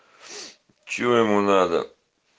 что ему надо